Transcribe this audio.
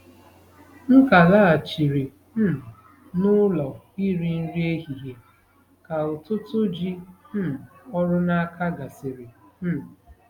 M ka laghachiri um n'ụlọ iri nri ehihie ka ụtụtụ ji um ọrụ n'aka gasịrị um